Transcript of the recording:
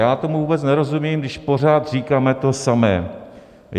Já tomu vůbec nerozumím, když pořád říkáme to samé.